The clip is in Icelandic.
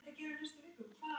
Hún segir dansinn lífið.